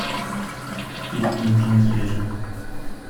фильмы с джим керри